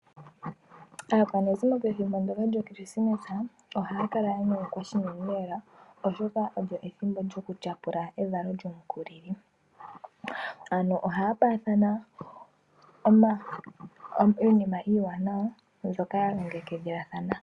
Aakwanezimo pethimbo ndyoka lyoKrismesa ohaya kala ya nyanyukwa noonkondo, oshoka olyo ethimbo lyokutyapula evalo lyomukulili. Ohaya paathana iinima iiwanawa mbyoka ya longekidhilathana.